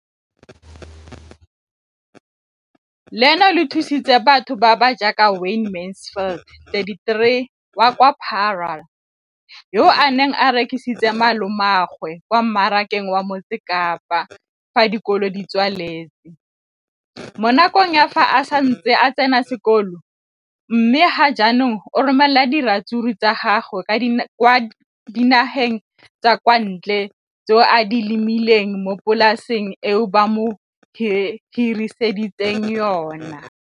leno le thusitse batho ba ba jaaka Wayne Mansfield, 33, wa kwa Paarl, yo a neng a rekisetsa malomagwe kwa Marakeng wa Motsekapa fa dikolo di tswaletse, mo nakong ya fa a ne a santse a tsena sekolo, mme ga jaanong o romela diratsuru tsa gagwe kwa dinageng tsa kwa ntle tseo a di lemileng mo polaseng eo ba mo hiriseditseng yona.